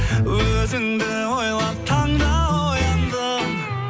өзіңді ойлап таңда ояндым